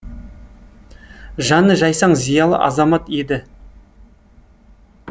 жаны жайсаң зиялы азамат еді